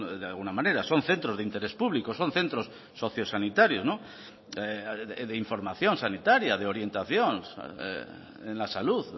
de alguna manera son centros de interés público son centros socio sanitarios de información sanitaria de orientación en la salud